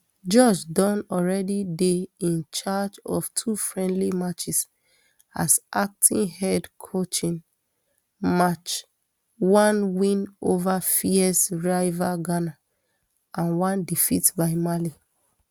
george don alreadydey in charge of two friendly matches as acting head coachin march one win over fierce rivals ghana and one defeat by mali